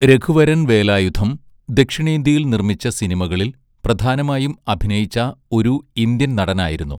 രഘുവരൻ വേലായുധം ദക്ഷിണേന്ത്യയിൽ നിർമ്മിച്ച സിനിമകളിൽ പ്രധാനമായും അഭിനയിച്ച ഒരു ഇന്ത്യൻ നടനായിരുന്നു.